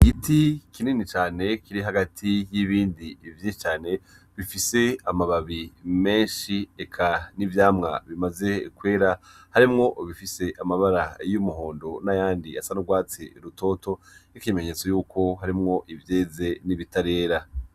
Igiti kinini cane kiri hagati y'ibindi vyinshi cane, bifise amababi menshi eka n'ivyamwa bimaze kwera, harimwo ibifise amabara y'umuhondo n'ayandi asa n'urwatsi rutoto, nk'ikimenyetso yuko harimwo ivyeze n’ibitarera.